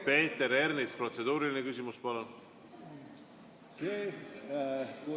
Peeter Ernits, protseduuriline küsimus, palun!